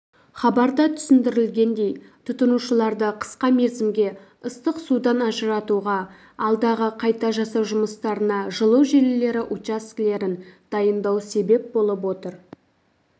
хабарда түсіндірілгендей тұтынушыларды қысқа мерзімге ыстық судан ажыратуға алдағы қайта жасау жұмыстарына жылу желілері учаскелерін дайындау себеп болып отыр